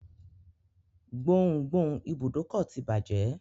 Gboùngboùn ibùdókọ̀ ti bàjẹ́.